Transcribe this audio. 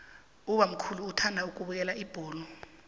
ubamkhulu uthanda ukubukela ibholo